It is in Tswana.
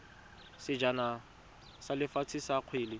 sejana sa lefatshe sa kgwele